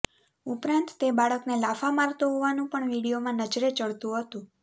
ઉપરાંત તે બાળકને લાફા મારતો હોવાનું પણ વિડીયોમાં નજરે ચડતું હતું